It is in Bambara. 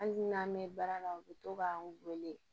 Hali n'an mɛ baara la u bi to k'an wele